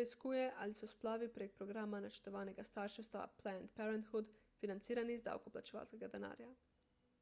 preiskuje ali so splavi prek programa načrtovanega starševstva »planned parenthood« financirani iz davkoplačevalskega denarja